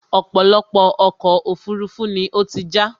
ọ̀pọ̀lọpọ̀ ọkọ̀ òfurufú ni ó ti já